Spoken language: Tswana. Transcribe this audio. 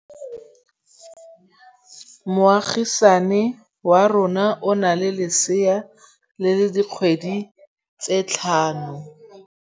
Moagisane wa rona o na le lesea la dikgwedi tse tlhano.